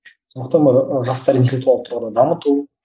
сондықтан бұл ы жастар интелектуалды тұрғыда дамыту